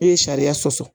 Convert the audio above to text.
E ye sariya sɔsɔ